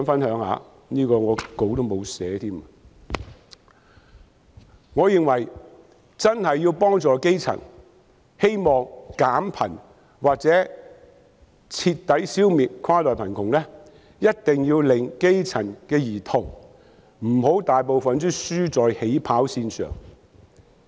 我認為要真正幫助基層、減貧或徹底消滅跨代貧窮，一定不能讓大部分基層兒童"輸在起跑線上"。